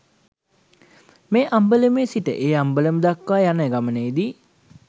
මේ අම්බලමේ සිට ඒ අම්බලම දක්වා යන ගමනේ දී